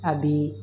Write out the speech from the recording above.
A bi